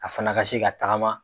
A fana ka se ka tagama.